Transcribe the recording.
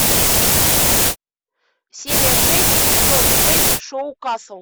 серия шесть сезон шесть шоу касл